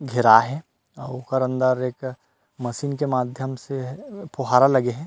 घेराये हे अऊ ओकर अंदर एक मशीन के माध्यम से फुहारा लगे हे।